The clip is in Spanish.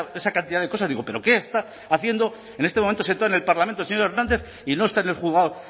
esa cantidad de cosas digo pero qué está haciendo en este momento sentado en el parlamento el señor hernández y no está en el juzgado